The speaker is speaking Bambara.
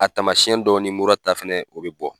A taamasiyɛn dɔ ni mura ta fɛnɛ o bɛ bɔ.